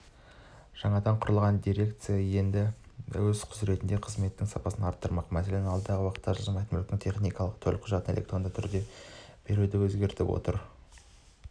жаңадан құрылған дирекция енді өз құзыретіндегі қызметтердің сапасын арттырмақ мәселен алдағы уақытта жылжымайтын мүліктің техникалық төлқұжатын электронды түрде беруді көздеп отыр